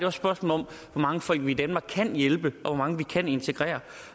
et spørgsmål om hvor mange folk vi i danmark kan hjælpe og hvor mange vi kan integrere